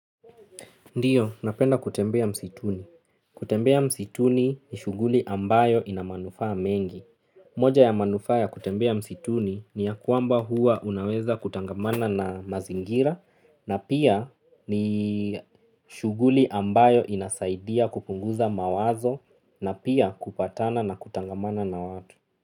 Ndio, napenda kutembea msituni. Kutembea msituni ni shuguli ambayo ina manufaa mengi. Moja ya manufaa ya kutembea msituni ni ya kwamba huwa unaweza kutangamana na mazingira na pia ni shuguli ambayo inasaidia kupunguza mawazo na pia kupatana na kutangamana na watu.